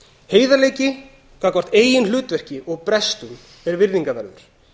heiðarleiki gagnvart eigin hlutverki og brestum er virðingarverður